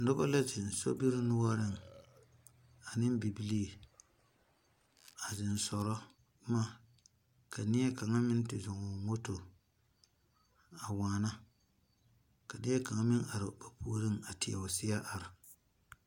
Nuba la zeng sobiri nouring ane bibilii a zeng sora buma ka neɛ kanga meng te zung ɔ moto a waana ka neɛ kanga meng arẽ ba pouring a tee ɔ seɛ arẽ.